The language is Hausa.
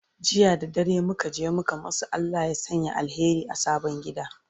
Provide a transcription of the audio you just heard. jiya da dare muka je muka masu Allah ya Sanya alheri a sabon gida